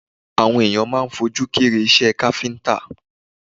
Àwọn ènìyàn máa ń fojú kéré iṣẹ́ káfíńtà